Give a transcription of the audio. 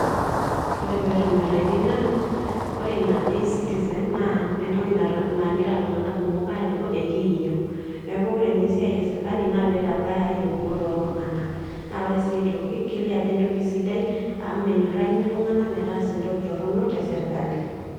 ore pee etonyoraitie naa ore eina ecitizen, naa entoki nagira iltunganak kumok aajo ekiiyieu. neeku ore ninye esiai esirkali naa pee eitabaya iyieunot ooltunganak. naa ore sii aitoki kelioo ajo entoki sidai amu menyorakini iltunganak metaasa entoki storonok te sirkali.